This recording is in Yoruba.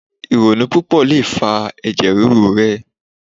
Ironu pupo lo fa ẹjẹ riru rẹ